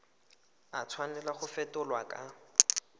a tshwanela go fetolwa kwa